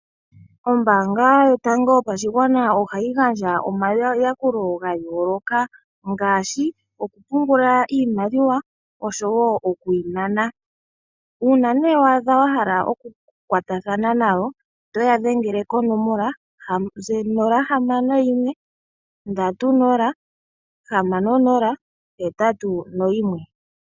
Ombanga yotango yopashigwana ohayi gandja omayakulo ogendji ga yooloka, ngashi oku pungula iimaliwa , osho wo okuyi nana, uuna ne wahala oku kwatathana nawo otoya dhengele konomola 061306081.